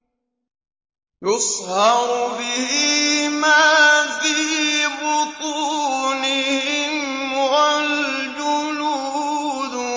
يُصْهَرُ بِهِ مَا فِي بُطُونِهِمْ وَالْجُلُودُ